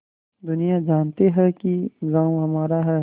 दुनिया जानती है कि गॉँव हमारा है